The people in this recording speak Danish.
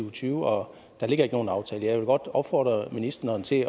og tyve og der ligger ikke nogen aftale jeg vil godt opfordre ministeren til